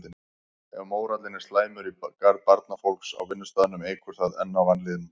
Ef mórallinn er slæmur í garð barnafólks á vinnustaðnum eykur það enn á vanlíðanina.